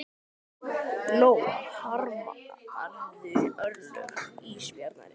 Lóa: Harmarðu örlög ísbjarnarins?